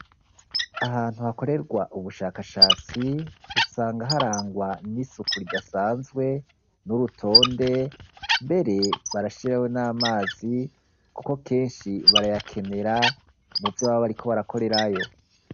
Ahantu hakorerwa ubushakashatsi usanga harangwa n'isuku ridasanzwe n'urutonde mbere barashiraho n'amazi kuko kenshi barayakenera muvyo baba bariko barakorerayo.